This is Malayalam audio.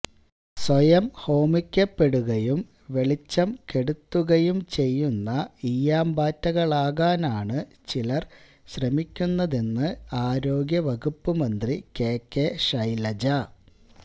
സ്വയം ഹോമിക്കപ്പെടുകയും വെളിച്ചം കെടുത്തുകയും ചെയ്യുന്ന ഈയാംപാറ്റകളാകാനാണ് ചിലര് ശ്രമിക്കുന്നതെന്ന് ആരോഗ്യ വകുപ്പ് മന്ത്രി കെ കെ ശൈലജ